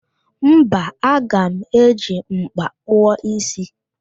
Mba, aga m eji m̀kpá kpụọ ísí